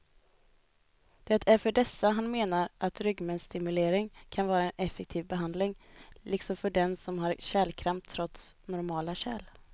Det är för dessa han menar att ryggmärgsstimulering kan vara en effektiv behandling, liksom för dem som har kärlkramp trots normala kärl.